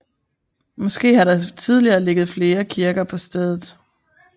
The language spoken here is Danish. Måske har der tidligere ligget flere kirker på stedet